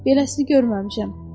Beləsini görməmişəm.